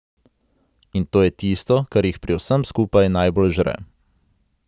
In to je tisto, kar jih pri vsem skupaj najbolj žre.